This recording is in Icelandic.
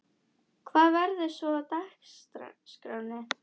Hvað verður svo á dagskránni?